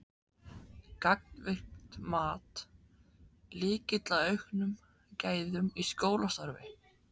Gagnvirkt mat: Lykill að auknum gæðum í skólastarfi?